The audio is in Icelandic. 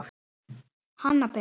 Hanna Birna.